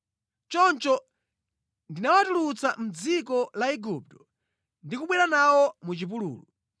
Choncho ndinawatulutsa mʼdziko la Igupto ndi kubwera nawo mʼchipululu.